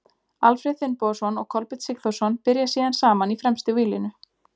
Alfreð Finnbogason og Kolbeinn Sigþórsson byrja síðan saman í fremstu víglínu.